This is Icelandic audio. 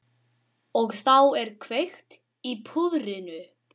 Og þá er kveikt í púðrinu.